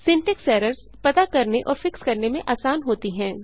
syntax errors पता करने और फिक्स करने में आसान होती हैं